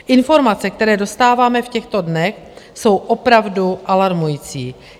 Informace, které dostáváme v těchto dnech, jsou opravdu alarmující.